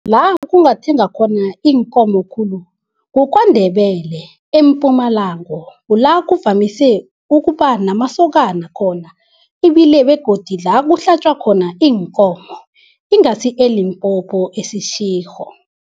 La kungathengwa khona iinkomo khulu kuKwaNdebele eMpumalanga. Kula kuvamise ukuba namasokana khona ibile begodu la kuhlatjwa khona iinkomo, ingasi eLimpopo eSeshego.